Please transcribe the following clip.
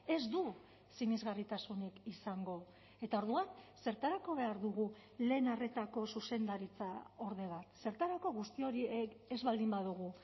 ez du sinesgarritasunik izango eta orduan zertarako behar dugu lehen arretako zuzendaritzaorde bat zertarako guzti hori ez baldin badugu